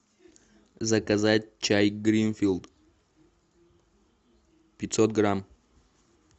заказать чай гринфилд пятьсот грамм